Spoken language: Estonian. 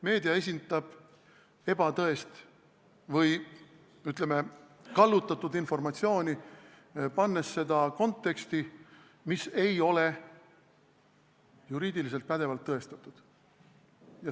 Meedia esitab ebatõest või, ütleme, kallutatud informatsiooni, pannes seda konteksti, mis ei ole juriidiliselt pädevalt tõestatud.